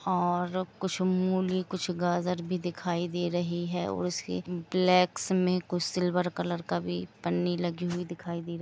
और कुछ मूली और कुछ गाजर भी दिखाई दे रही है और उसी ब्लैक में कुछ सिल्वर कलर का पन्नी लगी हुई दिखाई दे रही हैं।